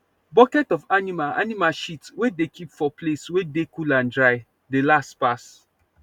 bucket of animal animal shit wey dey keep for place wey dey cool and dry dey last pass